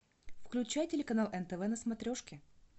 включай телеканал нтв на смотрешке